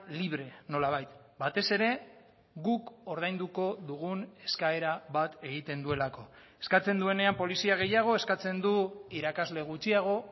libre nolabait batez ere guk ordainduko dugun eskaera bat egiten duelako eskatzen duenean polizia gehiago eskatzen du irakasle gutxiago